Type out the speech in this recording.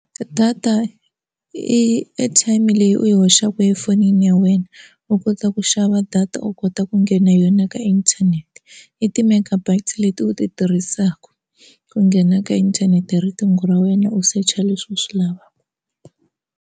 Data i airtime leyi u yi hoxaka efonini ya wena u kota ku xava data u kota ku nghena yona ka inthanete i ti-megabites leti u ti tirhisaka ku nghena ka inthanete hi riqingho ra wena u search-a leswi u swi lavaka.